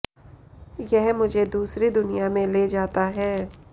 यह मुझे दूसरी दुनिया में ले जाता है